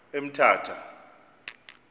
emthatha